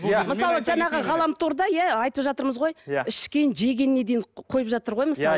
мысалы жаңағы ғаламторда иә айтывжатырмыз ғой ішкен жегеніне дейін қойып жатыр ғой мысалы